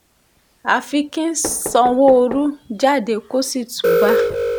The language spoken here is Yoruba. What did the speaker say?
àfi kí sanwóoru jáde kó sì túúbá